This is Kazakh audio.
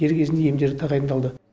дер кезінде емдері тағайындалды